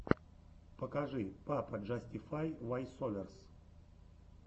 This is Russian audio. покажи пападжастифай войсоверс